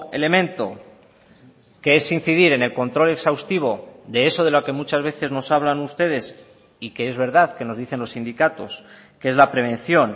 elemento que es incidir en el control exhaustivo de eso de lo que muchas veces nos hablan ustedes y que es verdad que nos dicen los sindicatos que es la prevención